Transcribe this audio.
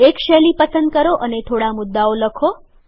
એક શૈલી પસંદ કરો અને થોડા મુદ્દાઓ લખો